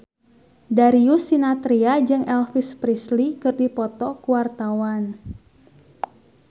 Darius Sinathrya jeung Elvis Presley keur dipoto ku wartawan